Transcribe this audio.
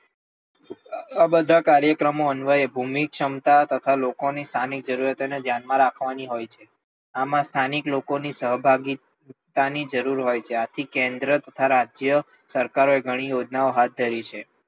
આ બધા કાર્યક્રમો અન્વયે ભૂમિક ક્ષમતા તથા લોકોની સ્થાનિક જરૂરિયાતો ને ધ્યાનમાં રાખવાની હોય છે આમાં સ્થાનિક લોકોની સહભાગી હોવાની જરૂર હોય છે આથી કેન્દ્ર તથા રાજ્ય સરકારોએ ઘણી યોજનાઓ હાથ ધરી છે.